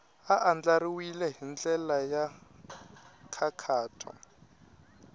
andlariwile hi ndlela ya nkhaqato